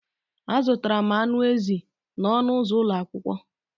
Azụtara m anụ ezi n'ọnụ ụzọ ụlọ akwụkwọ.